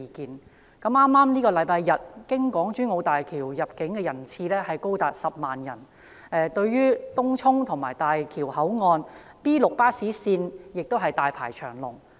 在剛過去的星期天，經港珠澳大橋出入境的人次高達10萬人，來往東涌及大橋口岸的 B6 線巴士站亦大排長龍。